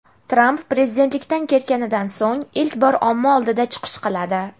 Tramp prezidentlikdan ketganidan so‘ng ilk bor omma oldida chiqish qiladi.